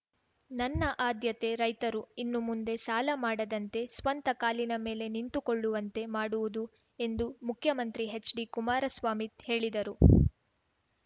ನನ್ನ ಆದ್ಯತೆ ರೈತರು ಇನ್ನು ಮುಂದೆ ಸಾಲ ಮಾಡದಂತೆ ಸ್ವಂತ ಕಾಲಿನ ಮೇಲೆ ನಿಂತುಕೊಳ್ಳುವಂತೆ ಮಾಡುವುದು ಎಂದು ಮುಖ್ಯಮಂತ್ರಿ ಹೆಚ್‌ಡಿ ಕುಮಾರಸ್ವಾಮಿ ಹೇಳಿದರು